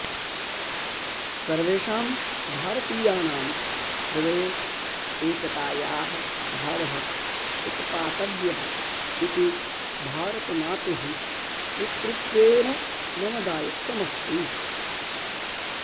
सर्वेषां भारतीयानां हृदये एकतायाः भावः उत्पातव्यः इति भारतमातुः पुत्रीत्वेन मम दायित्वमस्ति